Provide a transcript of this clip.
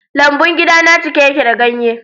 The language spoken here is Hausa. Lambun gidana cike yake da ganye.